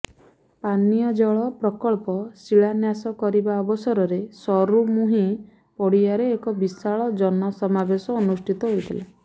ପାନୀୟ ଜଳ ପ୍ରକଳ୍ପ ଶିଳାନ୍ୟାସ କରିବା ଅବସରରେ ସରୁମୁହିଁ ପଡ଼ିଆରେ ଏକ ବିଶାଳ ଜନସମାବେଶ ଅନୁଷ୍ଠିତ ହୋଇଥିଲା